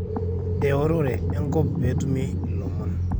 eorore enkop pee etumi ilomon